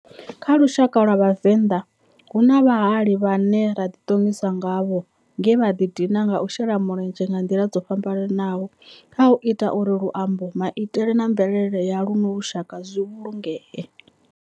Kha lushaka lwa Vhavenda, hu na vhahali vhane ra di tongisa ngavho nge vha di dina nga u shela mulenzhe nga ndila dzo fhambananaho khau ita uri luambo, maitele na mvelele ya luno lushaka zwi vhulungee.